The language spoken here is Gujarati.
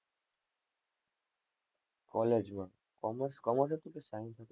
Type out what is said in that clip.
college માં, commerce, commerce જ છે કે science લીધું.